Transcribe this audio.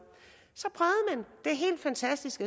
helt fantastisk